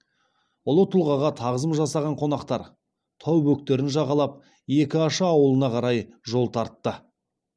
ұлы тұлғаға тағзым жасаған қонақтар тау бөктерін жағалап екі аша ауылына қарай жол тартты